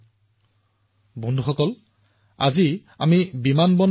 আমাৰ এই মহিলা আৰক্ষীসকলো দেশৰ লাখ লাখ আৰু কন্যাৰ বাবে আদৰ্শ হৈ পৰিছে